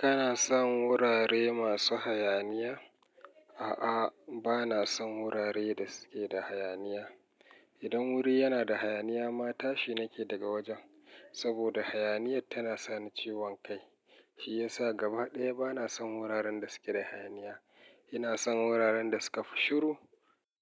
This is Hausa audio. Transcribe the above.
Kana son wurare masu hayaniya? A'a, ba na son wuraren da suke da hayaniya. Idan wuri yana da hayaniya ma, tashi nake daga wajen, saboda hayaniyyar tana sani ciwon kai. Shi ya sa gaba ɗaya ba na son wuraren da suke da hayaniya. Ina son wuraren da suka fi shiru.